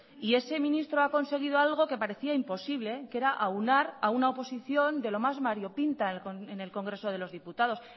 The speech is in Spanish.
y ese ministro ha conseguido algo que parecía imposible que era aunar a una oposición de lo más variopinta en el congreso de los diputados